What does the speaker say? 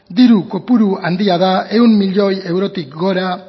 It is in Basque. diru kopuru handia da ehun miloi eurotik gora